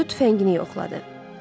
Hindu tüfəngini yoxladı.